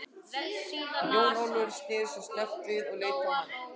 Jón Ólafur sneri sér snöggt við og leit á hann.